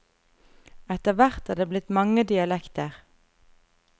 Etter hvert er det blitt mange dialekter.